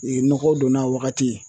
U ye nɔgɔ donna a wagati ye.